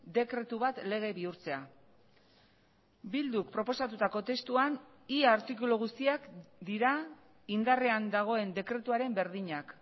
dekretu bat lege bihurtzea bilduk proposatutako testuan ia artikulu guztiak dira indarrean dagoen dekretuaren berdinak